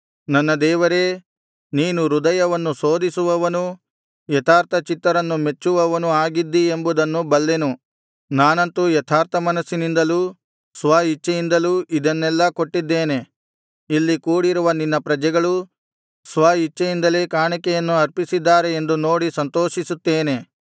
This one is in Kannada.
ನನ್ನ ದೇವರೇ ನೀನು ಹೃದಯವನ್ನು ಶೋಧಿಸುವವನೂ ಯಥಾರ್ಥಚಿತ್ತರನ್ನು ಮೆಚ್ಚುವವನೂ ಆಗಿದ್ದಿ ಎಂಬುದನ್ನು ಬಲ್ಲೆನು ನಾನಂತೂ ಯಥಾರ್ಥಮನಸ್ಸಿನಿಂದಲೂ ಸ್ವ ಇಚ್ಛೆಯಿಂದಲೂ ಇದನ್ನೆಲ್ಲಾ ಕೊಟ್ಟಿದ್ದೇನೆ ಇಲ್ಲಿ ಕೂಡಿರುವ ನಿನ್ನ ಪ್ರಜೆಗಳೂ ಸ್ವ ಇಚ್ಛೆಯಿಂದಲೇ ಕಾಣಿಕೆಯನ್ನು ಅರ್ಪಿಸಿದ್ದಾರೆ ಎಂದು ನೋಡಿ ಸಂತೋಷಿಸುತ್ತೇನೆ